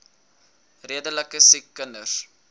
redelike siek kinders